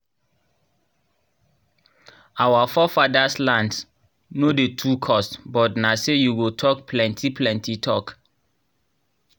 our forefadas lands nor dey too cost but nah say u go talk plenti plenti talk